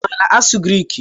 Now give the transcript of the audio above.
I maara asụ Griik?